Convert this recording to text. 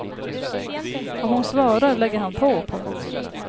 Om hon svarar lägger han på. punkt